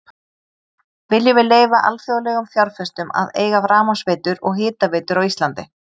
Viljum við leyfa alþjóðlegum fjárfestum að eiga rafmagnsveitur og hitaveitur á Íslandi?